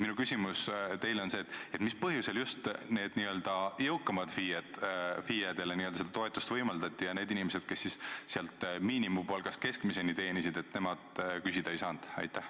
Minu küsimus teile on: mis põhjusel just neile n-ö jõukamatele FIE-dele seda toetust võimaldati ja need inimesed, kes miinimumpalgast kuni keskmise palgani teenisid, seda küsida ei saanud?